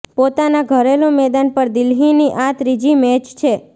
પોતાના ઘરેલૂ મેદાન પર દિલ્હીની આ ત્રીજી મેચ છે